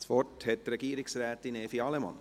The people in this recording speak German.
Das Wort hat Frau Regierungsrätin Evi Allemann.